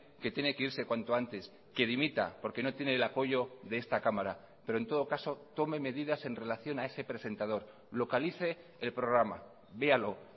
que tiene que irse cuanto antes que dimita porque no tiene el apoyo de esta cámara pero en todo caso tome medidas en relación a ese presentador localice el programa véalo